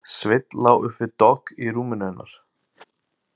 Sveinn lá upp við dogg í rúminu hennar.